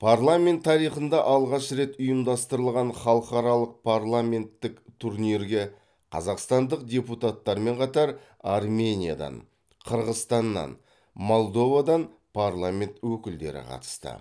парламент тарихында алғаш рет ұйымдастырылған халықаралық парламенттік турнирге қазақстандық депутаттармен қатар армениядан қырғызстаннан молдовадан парламент өкілдері қатысты